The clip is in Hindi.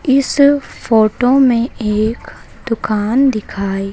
इस फोटो में एक दुकान दिखाई--